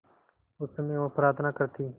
उस समय वह प्रार्थना करती